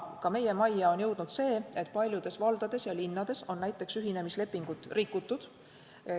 Ka meie majja on jõudnud, et paljudes valdades ja linnades on näiteks ühinemislepingut rikutud.